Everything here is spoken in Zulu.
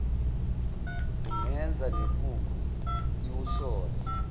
kungenza nenkukhu iwusole